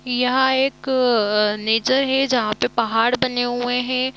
यहाँ एक नेचर है जहा पे पहाड़ बने हुए है।